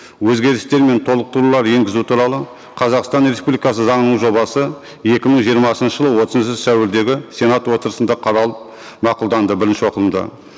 өзгерістер мен толықтырулар енгізу туралы қазақстан республикасы заңының жобасы екі мың жиырмасыншы жылы отызыншы сәуірдегі сенат отырысында қаралып мақұлданды бірінші оқылымда